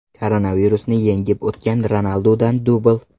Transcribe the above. Koronavirusni yengib o‘tgan Ronaldudan dubl.